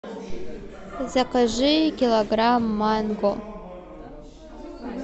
закажи килограмм манго